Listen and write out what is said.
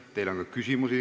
Teile on ka küsimusi.